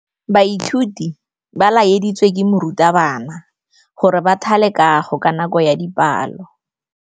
Baithuti ba laeditswe ke morutabana gore ba thale kagô ka nako ya dipalô.